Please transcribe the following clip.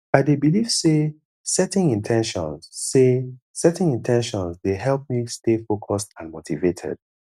i dey believe say setting in ten tions say setting in ten tions dey help me stay focused and motivated